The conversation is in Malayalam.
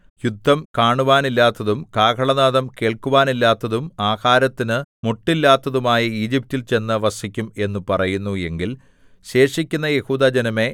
യുദ്ധം കാണുവാനില്ലാത്തതും കാഹളനാദം കേൾക്കുവാനില്ലാത്തതും ആഹാരത്തിനു മുട്ടില്ലാത്തതുമായ ഈജിപ്റ്റിൽ ചെന്നു വസിക്കും എന്ന് പറയുന്നു എങ്കിൽ ശേഷിക്കുന്ന യെഹൂദാജനമേ